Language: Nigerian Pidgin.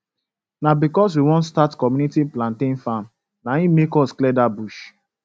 na because we won start community plantian farm na hin make us clear that bush